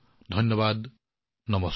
ধন্যবাদ নমস্কাৰ